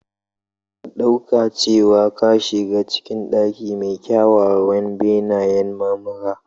Ka ɗauka cewa ka shiga cikin ɗaki mai kyawawan benayen marmara.